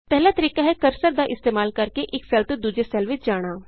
ਪਹਿਲਾ ਤਰੀਕਾ ਹੈ ਕਰਸਰ ਦਾ ਇਸਤੇਮਾਲ ਕਰਕੇ ਇਕ ਸੈੱਲ ਤੋਂ ਦੂਜੇ ਸੈੱਲ ਵਿਚ ਜਾਣਾ